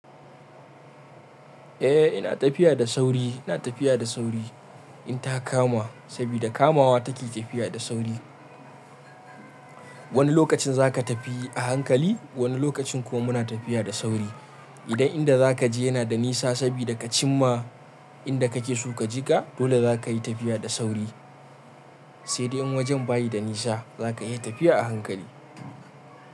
Eh ina tafiya da sauri, ina tafiya da sauri in ta kama, saboda kamawa take tafiya da sauri. Wani lokacin za ka tafi a hankali, wani lokacin kuma muna tafiya da sauri. Idan inda za ka je yana da nisa sabida ka cinma inda ka ke so ka jiga, dole za ka yi tafiya da sauri. Sai dai in wajen bayi da nisa za ka iya tafiya a hankali.